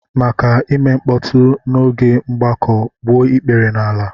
Maka ime mkpọtụ n'oge mgbakọ, gbuo ikpere n'ala!